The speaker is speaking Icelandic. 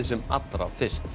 sem allra fyrst